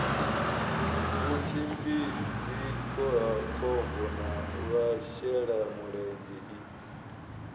vhutshimbidzi khohakhombo na vhashelamulenzhe i